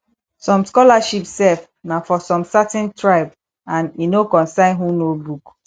som scholarship sef na for som certain tribe and e no concern who know book